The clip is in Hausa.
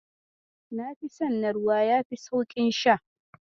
Nafi son na ruwa yafi sauƙin sha.